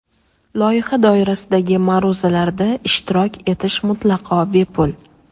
Loyiha doirasidagi ma’ruzalarda ishtirok etish mutlaqo bepul.